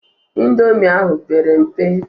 Indomi ahụ pere mpe.